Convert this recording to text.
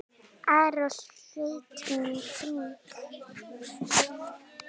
ar að sveitunum í kring.